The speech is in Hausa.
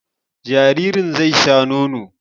Jaririn zai sha nono